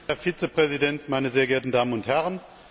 Herr Vizepräsident, meine sehr geehrten Damen und Herren!